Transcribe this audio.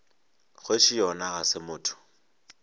kgoši yona ga se motho